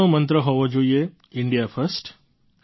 આપણો મંત્ર હોવો જોઈએ ઇન્ડિયા ફર્સ્ટ